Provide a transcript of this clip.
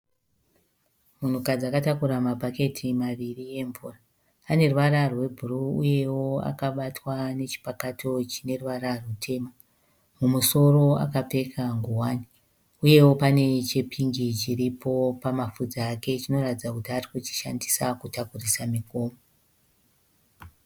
Munhukadzi akatakura mabhaketi maviri emvura, ane ruvara rwebhuruu uyewo akabatwa nechipakato chine ruvara rwutema. Mumusoro akapfeka nguwani uyewo pane chepingi chiripo pamapafudzi ake chinoratidza kuti arikuchishandisa kutakurisa migomo.